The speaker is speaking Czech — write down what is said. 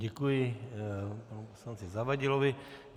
Děkuji panu poslanci Zavadilovi.